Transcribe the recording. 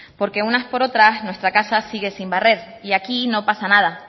porque unas por otras nuestra casa sigue sin barrer y aquí no pasa nada